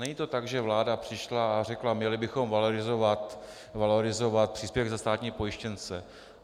Není to tak, že vláda přišla a řekla: měli bychom valorizovat příspěvek za státní pojištěnce.